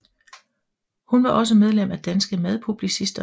Hun var også medlem af Danske Madpublicister